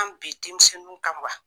An bi denmisɛnnu kan wa ?